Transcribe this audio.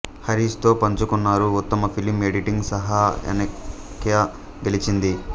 Harris తో పంచుకున్నారు ఉత్తమ ఫిలిం ఎడిటింగ్ సహా అనేక గెలిచింది